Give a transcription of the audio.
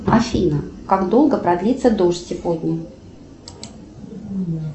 афина как долго продлится дождь сегодня